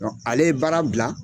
Ale ye baara bila.